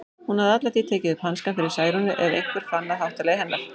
Hún hafði alla tíð tekið upp hanskann fyrir Særúnu ef einhver fann að háttalagi hennar.